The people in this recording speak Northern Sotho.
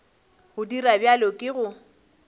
go dira bjalo ke go